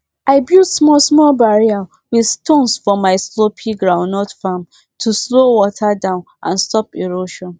i build small small barrier with stone for my slopy groundnut farm to slow water down and stop erosion